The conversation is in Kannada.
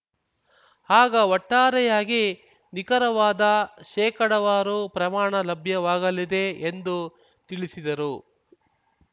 ಆಗ ಒಟ್ಟಾರೆಯಾಗಿ ನಿಖರವಾದ ಶೇಕಡಾವಾರು ಪ್ರಮಾಣ ಲಭ್ಯವಾಗಲಿದೆ ಎಂದು ತಿಳಿಸಿದರು